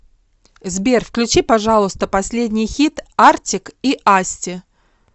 сбер включи пожалуйста последний хит артик и асти